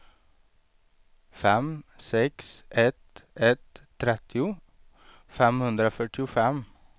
fem sex ett ett trettio femhundrafyrtiofem